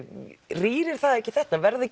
rýrir það ekki þetta verða